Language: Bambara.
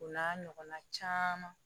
O n'a ɲɔgɔnna caman